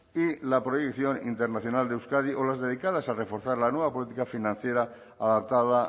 y la proyección internacional de euskadi o las dedicadas a reforzar la nueva política financiera adaptada